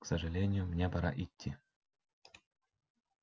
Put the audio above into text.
к сожалению мне пора идти